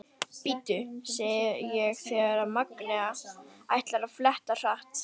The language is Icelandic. Bíddu, segi ég þegar Magnea ætlar að fletta hratt.